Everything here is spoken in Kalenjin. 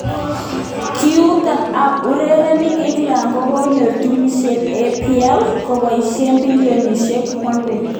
Kiuito ab urerenik England kokoyay timisiek ab EPL koboisie bilionisiek 1.41.